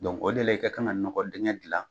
de la i ka kan nɔgɔ dingɛ dilan